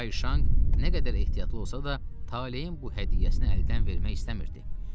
Kay Şanq nə qədər ehtiyatlı olsa da, taleyin bu hədiyyəsini əldən vermək istəmirdi.